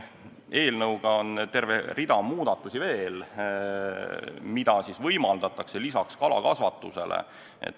Eelnõus on terve rida muudatusi veel, mida võimaldatakse, lisaks kalakasvatusele.